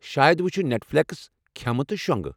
شاید وُچھہٕ Netflix, کھٮ۪مہٕ، تہٕ شونٛگہٕ۔